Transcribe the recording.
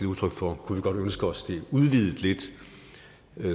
udtryk for kunne vi godt ønske os det udvidet lidt